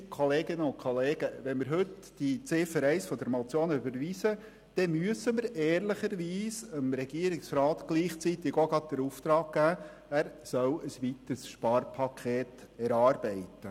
Wenn wir heute die Ziffer 1 dieser Motion überweisen, müssen wir ehrlicherweise der Regierung gleichzeitig den Auftrag geben, ein weiteres Sparpaket zu erarbeiten.